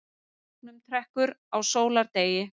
Gegnumtrekkur á sólardegi.